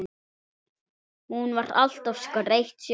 Hún var alltaf skreytt sjálf.